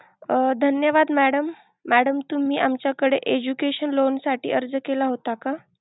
अह धन्यवाद madam, madam तुम्ही आमच्याकडे education loan साठी अर्ज केला होता का?